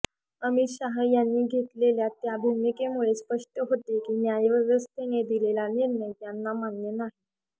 अमित शाह यांनी घेतलेल्या ता भूमिकेमुळे स्पष्ट होते की न्यायव्यवस्थेने दिलेला निर्णय यांना मान्य नाही